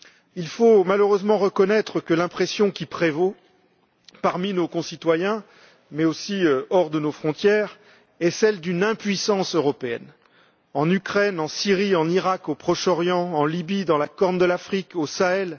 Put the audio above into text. Il faut malheureusement reconnaître que l'impression qui prévaut parmi nos concitoyens mais aussi hors de nos frontières est celle d'une impuissance européenne en Ukraine, en Syrie, en Iraq, au Proche Orient, en Libye, dans la Corne de l'Afrique, au Sahel.